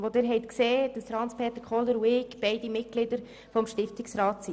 Sie haben gesehen, dass Hans-Peter Kohler und ich Mitglieder des Stiftungsrats sind.